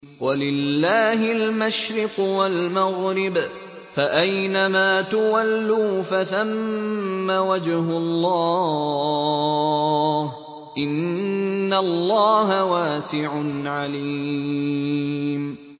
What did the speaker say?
وَلِلَّهِ الْمَشْرِقُ وَالْمَغْرِبُ ۚ فَأَيْنَمَا تُوَلُّوا فَثَمَّ وَجْهُ اللَّهِ ۚ إِنَّ اللَّهَ وَاسِعٌ عَلِيمٌ